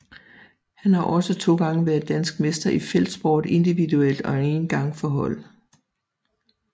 Han har også to gange været dansk mester i feltsport individuelt og en gang for hold